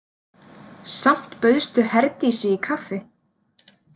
Samt bauðstu Herdísi í kaffi.